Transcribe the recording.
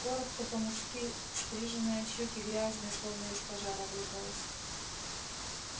коротко по-мужски стриженная щёки грязные словно из пожара выбралась